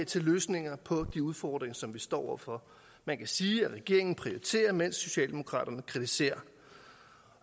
til løsninger på de udfordringer som vi står over for man kan sige at regeringen prioriterer mens socialdemokraterne kritiserer